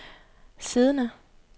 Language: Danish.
siddende